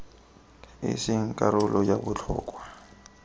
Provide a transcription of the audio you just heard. e seng karolo ya botlhokwa